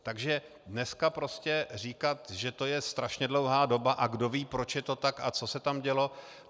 Takže dneska prostě říkat, že to je strašně dlouhá doba a kdo ví, proč je to tak a co se tam dělo...